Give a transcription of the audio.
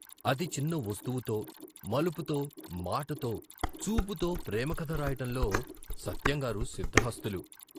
అతి చిన్న వస్తువుతో, మలుపుతో, మాటతో, చూపుతో ప్రేమకథ రాయటంలో సత్యంగారు సిద్ధహస్తులు.